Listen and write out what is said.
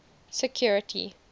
security